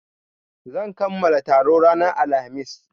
Zan kamala taro ranar Alhamis.